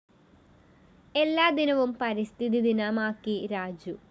എല്ലാ ദിനവും പരിസ്ഥിതി ദിനമാക്കി രാജു